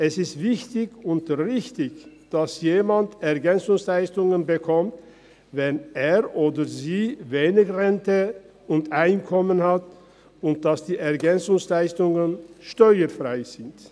Es ist wichtig und richtig, dass jemand EL erhält, wenn er oder sie wenig Rente und Einkommen hat, und dass die EL steuerfrei sind.